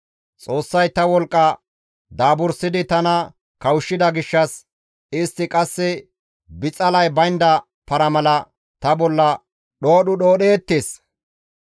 Xoossay ta wolqqa daabursidi tana kawushshida gishshas istti qasse bixalay baynda para mala ta bolla dhoodhu dhoodheettes.